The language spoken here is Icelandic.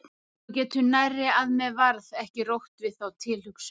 Þú getur nærri að mér varð ekki rótt við þá tilhugsun.